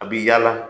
A bi yaala